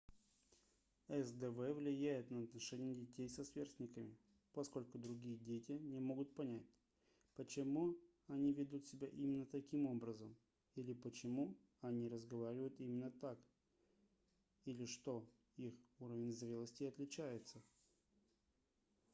сдв влияет на отношения детей со сверстниками поскольку другие дети не могут понять почему они ведут себя именно таким образом или почему они разговаривают именно так или что их уровень зрелости отличается